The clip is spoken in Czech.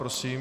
Prosím.